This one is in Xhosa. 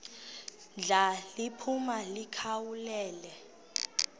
ndla liphuma likhawulele